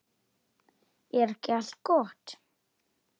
Er ekki allt gott?